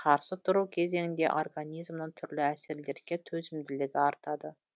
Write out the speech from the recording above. қарсы тұру кезеңіңде организмнің түрлі әсерлерге төзімділігі артады